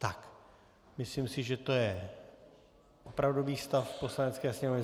Tak, myslím si, že to je opravdový stav Poslanecké sněmovny.